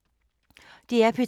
DR P2